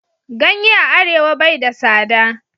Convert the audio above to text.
Ganye a arewa bai da sada.